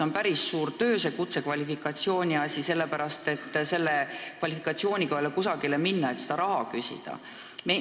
On päris suur töö see kutsekvalifikatsiooni omandamine, aga selle kvalifikatsiooniga ei ole kusagile minna, et selle eest raha küsida.